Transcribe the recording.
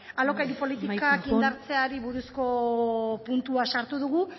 amaitzen joan alokairu politikak indartzeari buruzko puntua sartu dugu